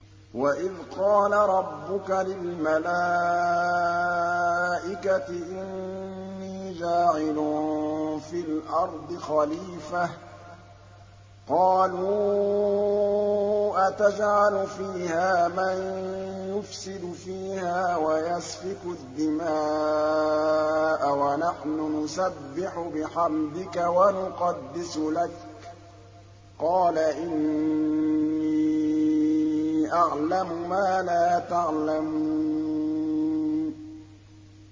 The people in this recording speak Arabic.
وَإِذْ قَالَ رَبُّكَ لِلْمَلَائِكَةِ إِنِّي جَاعِلٌ فِي الْأَرْضِ خَلِيفَةً ۖ قَالُوا أَتَجْعَلُ فِيهَا مَن يُفْسِدُ فِيهَا وَيَسْفِكُ الدِّمَاءَ وَنَحْنُ نُسَبِّحُ بِحَمْدِكَ وَنُقَدِّسُ لَكَ ۖ قَالَ إِنِّي أَعْلَمُ مَا لَا تَعْلَمُونَ